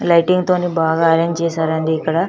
Lighting తో ని బాగా అరేంజ్ చేసారు అండి ఇక్కడ.